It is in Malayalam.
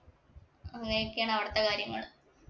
അങ്ങനെയൊക്കെയാണ് അവിടുത്തെ കാര്യങ്ങള്.